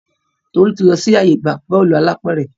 Tolu tí lọ sì ààyè ìgbà Bọ́ọ̀lù alápẹ̀rẹ̀.